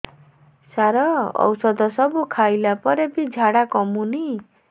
ସାର ଔଷଧ ସବୁ ଖାଇଲା ପରେ ବି ଝାଡା କମୁନି